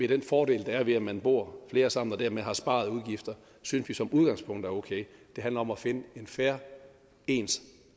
den fordel der er ved at man bor flere sammen og dermed har sparede udgifter synes vi som udgangspunkt er okay det handler om at finde en fair ens